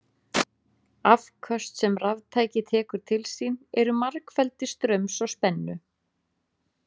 Afköst sem raftæki tekur til sín eru margfeldi straums og spennu.